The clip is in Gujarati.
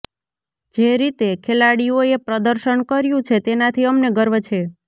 જે રીતે ખેલાડીઓએ પ્રદર્શન કર્યું છે તેનાથી અમને ગર્વ છે